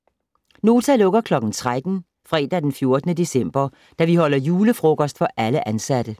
Nota lukker kl. 13 fredag den 14. december, da vi holder julefrokost for alle ansatte.